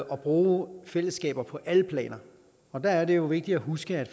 og bruge fællesskaber på alle planer og der er det jo vigtigt at huske